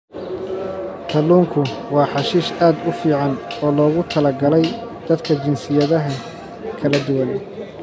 Kalluunku waa xashiish aad u fiican oo loogu talagalay dadka jinsiyadaha kala duwan.